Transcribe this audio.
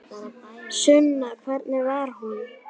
Sunna: Hvernig var hún?